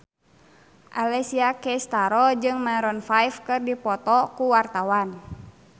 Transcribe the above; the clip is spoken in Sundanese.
Alessia Cestaro jeung Maroon 5 keur dipoto ku wartawan